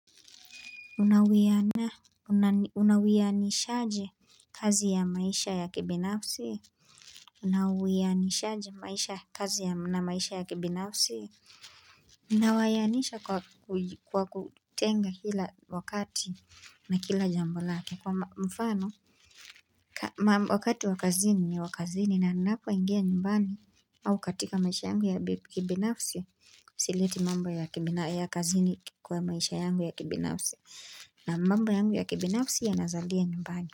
Unawianishaje kazi ya maisha ya kibinafsi? Unawianishaje maisha kazi ya na maisha ya kibinafsi? Ninawianisha kwa kutenga kila wakati na kila jambo lake kwa mfano Wakati wa kazini ni wa kazini ninapoingia nyumbani au katika maisha yangu ya kibinafsi Sileti mambo ya kazini kwa maisha yangu ya kibinafsi na mambo yangu ya kibinafsi yanazalia nyumbani.